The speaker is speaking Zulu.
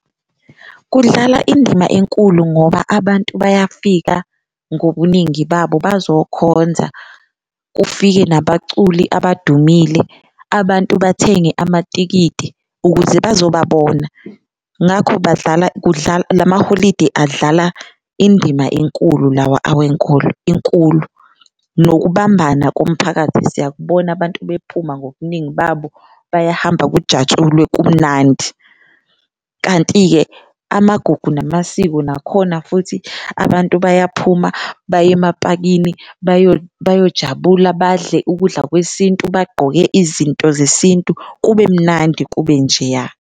Kudlala indima enkulu ngoba abantu bayafika ngobuningi babo bazokhonza kufike nabaculi abadumile, abantu bathenge amatikiti ukuze bazobabona ngakho badlala la maholidi adlala indima enkulu lawa awenkolo inkulu. Nokubambisana komphakathi siyakubona abantu bephuma ngobuningi babo bayahamba kujatshulwe kumnandi. Kanti-ke amagugu namasiko nakhona futhi abantu bayaphuma, baye emapakini bayojabula, badle ukudla kwesintu, bagqoke izinto zesintu kube mnandi kube nje, ya.